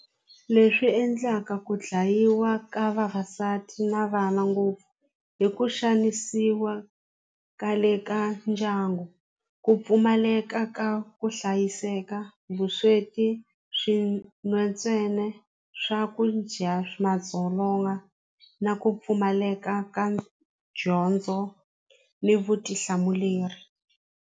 Leswi endlaka ku dlayiwa ka vavasati na vana ngopfu i ku xanisiwa ka le ka ndyangu, ku pfumaleka ka ku hlayiseka, vusweti swin'we ntsena swakudya madzolonga na ku pfumaleka ka dyondzo ni vutihlamuleri.